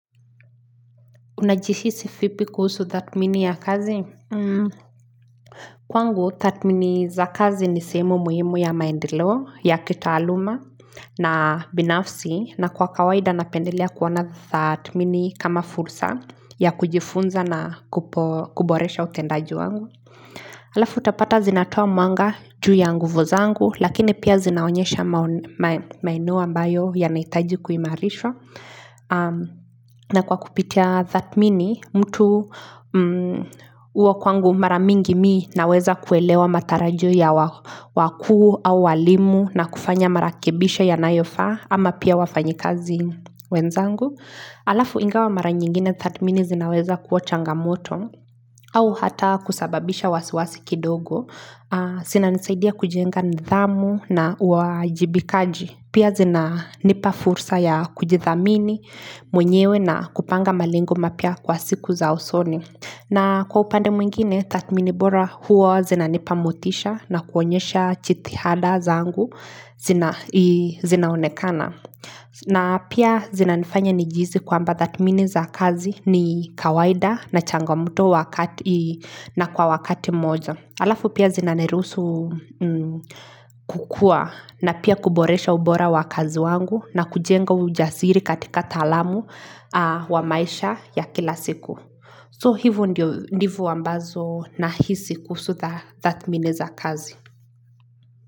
Unajishisi vipi kuhusu hiyo mbinu ya kazi? Kwangu, thathmini za kazi ni sehemu muhimu ya maendeleo, ya kitaaluma, na binafsi, na kwa kawaida na pendelea kuona tathmini kama fursa ya kujifunza na kuboresha utendaji wangu. Alafu utapata zinatoa mwanga juu ya nguvu zangu lakini pia zinaonyesha maeneo ambayo yanahitaji kuimarishwa na kwa kupitia thathmini mtu huwa kwangu maramingi mi naweza kuelewa matarajo ya wakuu au walimu na kufanya marekebisha yanayofaa ama pia wafanyikazi wenzangu Alafu ingawa mara nyingine tathmini zinaweza kuwa changamoto au hata kusababisha wasiwasi kidogo zinanisaidia kujenga nidhamu na uajibikaji Pia zinanipa fursa ya kujithamini mwenyewe na kupanga malengo mapya kwa siku za usoni na kwa upande mwingine tathmini bora huwa zinanipa motisha na kuonyesha jitihada zangu zinaonekana na pia zinanifanya nijihisi kwamba tathmini za kazi ni kawaida na changamoto kwa wakati moja. Alafu pia zinaniruhusu kukua na pia kuboresha ubora wa kazi zangu na kujenga ujasiri katika taalamu kwa maisha ya kila siku. Hivo ndivyo nahisi kuhusu tathmini za kazi.